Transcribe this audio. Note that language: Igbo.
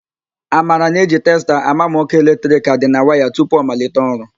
Amara na-eji testa àmà ma ọ́kụ́ eletrik a dị na waya tupu ọ malite ọrụ.